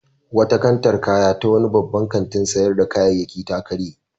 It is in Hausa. Wata kantar kaya ta wani babban kantin sayar da kayayyaki ta karye.